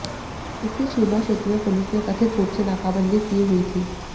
इसी सीमा क्षेत्र में पुलिस ने कथित रूप से नाकाबंदी की हुई थी